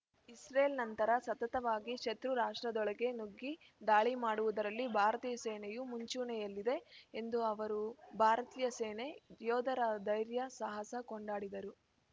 Israel ನಂತರ ಸತತವಾಗಿ ಶತೃ ರಾಷ್ಟ್ರದೊಳಗೆ ನುಗ್ಗಿ ದಾಳಿ ಮಾಡುವುದರಲ್ಲಿ ಭಾರತೀಯ ಸೇನೆಯೂ ಮುಂಚೂಣಿಯಲ್ಲಿದೆ ಎಂದು ಅವರು ಭಾರತೀಯ ಸೇನೆ ಯೋಧರ ಧೈರ್ಯ ಸಾಹಸ ಕೊಂಡಾಡಿದರು